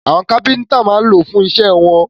Àwọn kápẹ́ńtà máa ń lo ìṣó fún iṣẹ́ wọn.